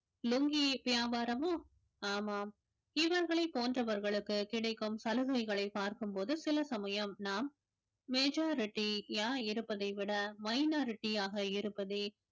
லுங்கி வியாபாரமோ ஆமாம் இவர்களை போன்றவர்களுக்கு கிடைக்கும் சலுகைகளை பார்க்கும் போது சில சமயம் நாம் majority யா இருப்பதை விட minority யாக இருப்பதே